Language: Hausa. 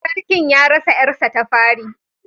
Sarkin ya rasa ‘yarsa ta fari